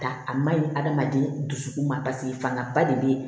A maɲi adamaden dusukun ma paseke fanba de ye